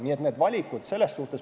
Nii et need on valikud.